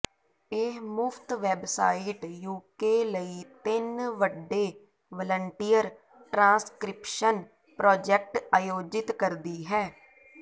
ਇਹ ਮੁਫ਼ਤ website UK ਲਈ ਤਿੰਨ ਵੱਡੇ ਵਲੰਟੀਅਰ ਟ੍ਰਾਂਸਕ੍ਰਿਪਸ਼ਨ ਪ੍ਰਾਜੈਕਟ ਆਯੋਜਿਤ ਕਰਦੀ ਹੈ